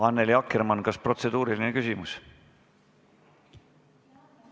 Annely Akkermann, kas protseduuriline küsimus?